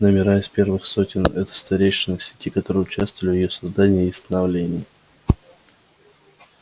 номера из первых сотен это старейшины сети которые участвовали в её создании и становлении